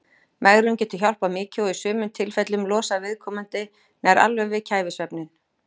Megrun getur hjálpað mikið og í sumum tilfellum losað viðkomandi nær alveg við kæfisvefninn.